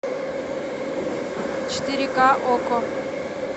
четыре ка окко